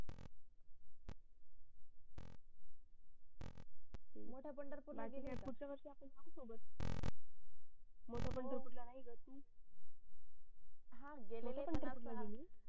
मोठ्या पंढरपूर ला पुढच्या वर्षी आपण जाऊ सोबत मोठ्या पंढरपूर ला नाही गेली का तू हा गेलीली